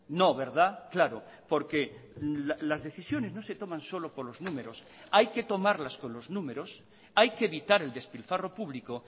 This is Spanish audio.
no verdad claro porque las decisiones no se toman solo por los números hay que tomarlas con los números hay que evitar el despilfarro público